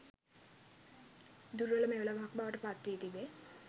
දුර්වල මෙවලමක් බවට පත් වී තිබේ